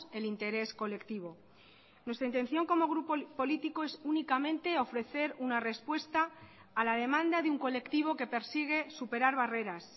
el interés colectivo nuestra intención como grupo político es únicamente ofrecer una respuesta a la demanda de un colectivo que persigue superar barreras